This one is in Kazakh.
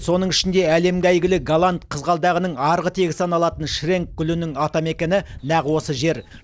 соның ішінде әлемге әйгілі голланд қызғалдағының арғы тегі саналатын шренк гүлінің атамекені нақ осы жер